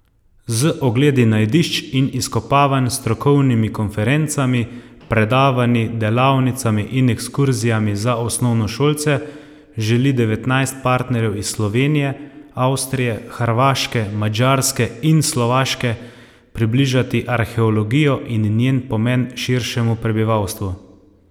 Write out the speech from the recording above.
Z ogledi najdišč in izkopavanj, strokovnimi konferencami, predavanji, delavnicami in ekskurzijami za osnovnošolce želi devetnajst partnerjev iz Slovenije, Avstrije, Hrvaške, Madžarske in Slovaške približati arheologijo in njen pomen širšemu prebivalstvu.